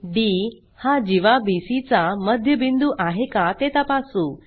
D हा जीवा BC चा मध्यबिंदू आहे का ते तपासू